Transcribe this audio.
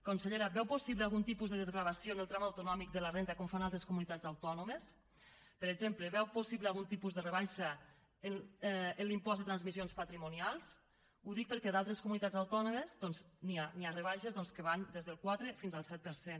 consellera veu possible algun tipus de desgravació en el tram autonòmic de la renda com fan altres comunitats autònomes per exemple veu possible algun tipus de rebaixa en l’impost de transmissions patrimonials ho dic perquè a d’altres comunitats autònomes n’hi ha hi ha rebaixes doncs que van des del quatre fins al set per cent